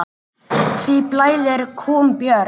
Hví blæðir kúm, Björn?